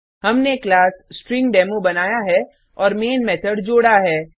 हमने class string demo बनाया है और मैन मेथड जोड़ा है